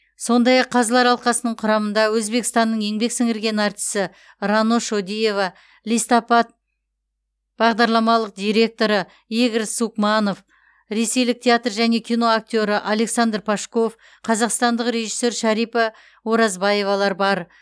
сондай ақ қазылар алқасының құрамында өзбекстанның еңбек сіңірген артисі рано шодиева листопад бағдарламалық директоры игорь сукманов ресейлік театр және кино актері александр пашков қазақстандық режиссер шәрипа оразбаевалар бар